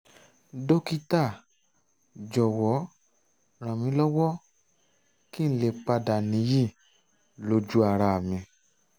dókítà jọ̀wọ́ ràn mí lọ́wọ́ kí n lè padà níyì lójú ara mi